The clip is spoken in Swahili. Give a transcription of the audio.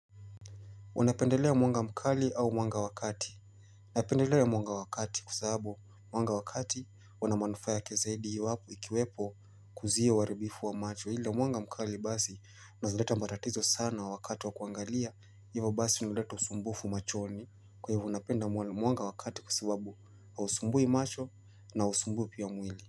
Unapendelea mwanga mkali au mwanga wa wakati. Napendelea mwanga wakati kwa sahabu mwanga wakati unamanufa yake zaidi iwapo ikiwepo kuziwa uaribifu wa macho. Hila mwanga mkali basi unaezaleta matatizo sana wa wakati wa kuangalia. Hivyo basi inaleta usumbufu machoni kwa hivyo napenda mwanga wa kati kwa sababu hausumbui macho na hausumbui pia mwili.